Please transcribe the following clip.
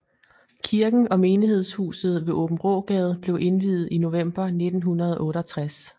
Kirken og menighedshuset ved Aabenraagade blev indviet i november 1968